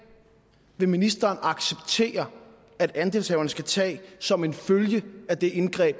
vil ministeren acceptere at andelshaverne skal tage som en følge af det indgreb